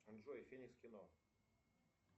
джой феникс кино